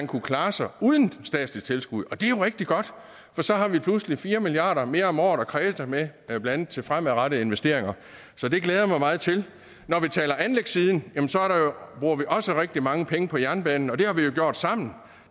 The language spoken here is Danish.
kunne klare sig uden statsligt tilskud og det er jo rigtig godt for så har vi pludselig fire milliard kroner mere om året at kræse med blandt andet til fremadrettede investeringer så det glæder jeg mig meget til når vi taler anlægssiden bruger vi også rigtig mange penge på jernbanen og det har vi jo gjort sammen